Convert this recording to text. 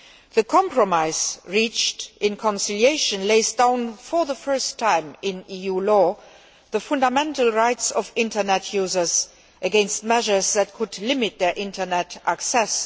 The compromise reached in conciliation lays down for the first time in EU law the fundamental rights of internet users against measures that could limit their internet access.